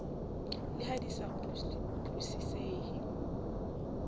le ha di sa utlwisisehe